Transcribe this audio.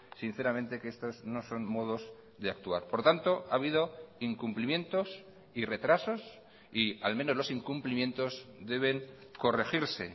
sinceramente que estos no son modos de actuar por tanto ha habido incumplimientos y retrasos y al menos los incumplimientos deben corregirse